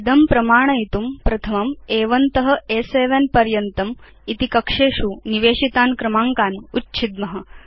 एतद् प्रमाणयितुं वयं प्रथमं अ1 त अ7 कक्षेषु आदौ निवेशितान् क्रमाङ्कान् उच्छेत्स्याम